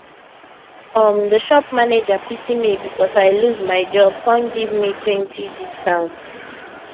um the shop manager pity me because i lose my job come give metwentydiscount